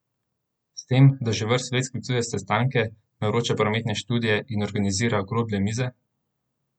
S tem, da že vrsto let sklicuje sestanke, naroča prometne študije in organizira okrogle mize?